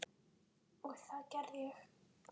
Og það gerði ég.